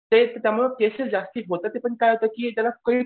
त्यामुळे केसेस जास्ती होतात पण काय होतं की त्याला